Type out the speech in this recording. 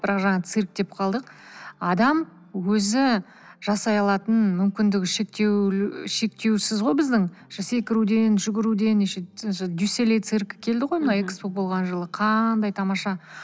бірақ жаңағы цирк деп қалдық адам өзі жасай алатын мүмкіндігі шектеусіз ғой біздің секіруден жүгіруден дю солей циркі келді ғой мына экспо болған жылы қандай тамаша